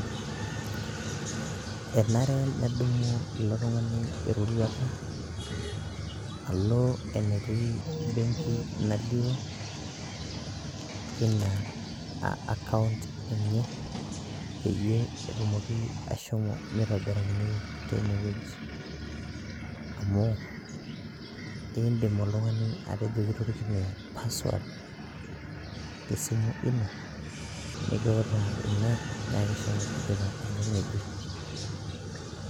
Enare nedumu ilo tung'ani eroruata nelo enetii benki nalioo ina [ca] account enye peyiee etumoki ashomo meitobirakini teinewueji. Amuu indim oltungani atejo kitorikine password tesimu ino nikiutaa ina nyaaki shomo tipika enkae ngejuk.